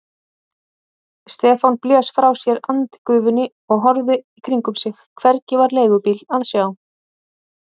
Stefán blés frá sér andgufunni og horfði í kringum sig, hvergi var leigubíl að sjá.